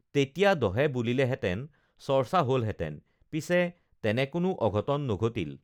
তেতিয়া দহে বুলিলেহেঁতেন চৰ্চা হলহেঁতেন পিছে তেনে কোনো অঘটন নঘটিল